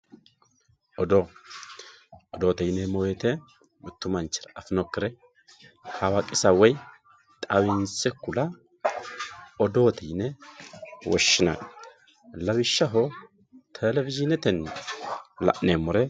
odoo odoote yineemmo woyiite mittu manchira afinokkire hawaqisa woyi xawinse kula odoote yine woshshinanni lawishshaho telewiyiinetenni la'neemmore